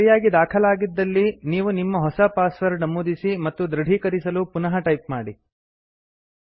ಅದು ಸರಿಯಾಗಿ ದಾಖಾಲಾಗಿದ್ದಲ್ಲಿ ನೀವು ನಿಮ್ಮ ಹೊಸ ಪಾಸ್ವರ್ಡ್ ನಮೂದಿಸಿ ಮತ್ತು ದೃಢೀಕರಿಸಲು ಪುನಃ ಟೈಪ್ ಮಾಡಿ